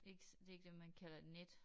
Ik det ikke det man kalder et net